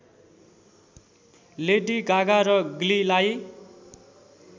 lady Gaga र ग्लीलाई